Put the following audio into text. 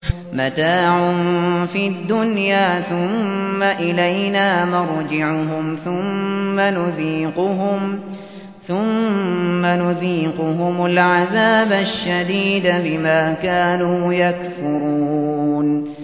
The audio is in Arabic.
مَتَاعٌ فِي الدُّنْيَا ثُمَّ إِلَيْنَا مَرْجِعُهُمْ ثُمَّ نُذِيقُهُمُ الْعَذَابَ الشَّدِيدَ بِمَا كَانُوا يَكْفُرُونَ